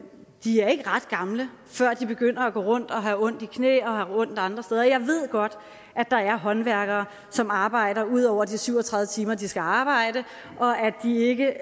de er ikke ret gamle før de begynder at gå rundt og have ondt i knæ og have ondt andre steder jeg ved godt at der er håndværkere som arbejder ud over de syv og tredive timer de skal arbejde og at de ikke